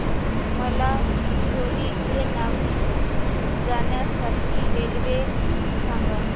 मला चिचोली ते नागपूर जाण्या साठी रेल्वे सांगा